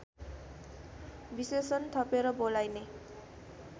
विशेषण थपेर बोलाइने